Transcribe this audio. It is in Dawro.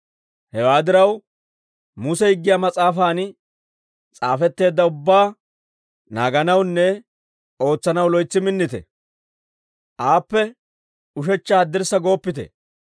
«Hewaa diraw, Muse Higgiyaa mas'aafan s'aafetteedda ubbaa naaganawunne ootsanaw loytsi minnite; aappe ushechcha haddirssa gooppite.